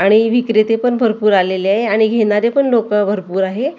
आणि विक्रेते पण भरपूर आलेले आहे आणि घेणारे पण लोकं भरपूर आहे .